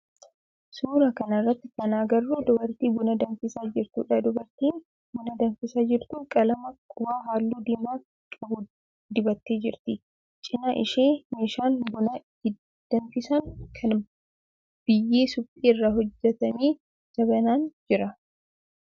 Suuraa kana irratti kana agarru dubartii buna danfisaa jirtudha. Dubartiin buna danfisaa jirtu qalama qubaa halluu diimaa qabu dibattee jirti. Cinaa ishee meeshaan buna itti danfisan kana biyyee suphee irraa hojjetame jabanaan jira.